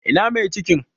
Ina mai cikin?